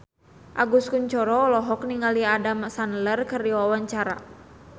Agus Kuncoro olohok ningali Adam Sandler keur diwawancara